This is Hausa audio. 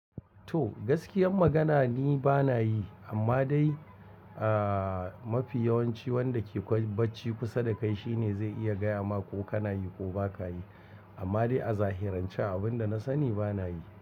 To gaskiyar magana ni bana yi amma dai aah mafi yawanci wanda ke baccin kusa da kai shine zai iya gaya ma ko kana yi ko ba ka yi. Amma dai a zahirance abin da na sani bana yi.